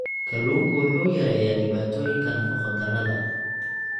Kalluunku wuxuu yareeyaa dhibaatooyinka nafaqo-darrada.